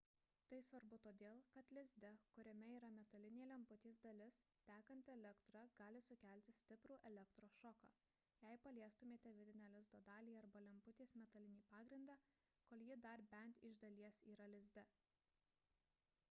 tai svarbu todėl kad lizde kuriame yra metalinė lemputės dalis tekanti elektra gali sukelti stiprų elektrošoką jei paliestumėte vidinę lizdo dalį arba lemputės metalinį pagrindą kol ji dar bent iš dalies yra lizde